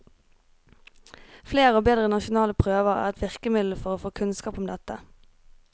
Flere og bedre nasjonale prøver er ett virkemiddel for å få kunnskap om dette.